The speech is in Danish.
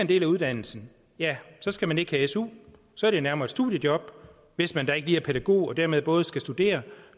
del af uddannelsen ja så skal man ikke have su så er det nærmere et studiejob hvis man da ikke lige er pædagog og dermed både skal studere